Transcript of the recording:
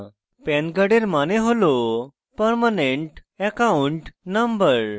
pan কার্ডের pan হল permanent account number